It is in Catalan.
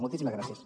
moltíssimes gràcies